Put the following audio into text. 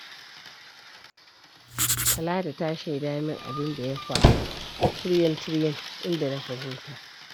Talatu ta shaida min abin da ya faru tiryan-tiryan, inda na fahimta.